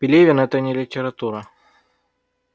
пелевин это не литература